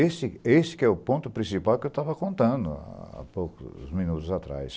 Esse esse que é o ponto principal que eu estava contando há poucos minutos atrás.